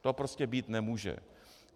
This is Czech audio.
To prostě být nemůže.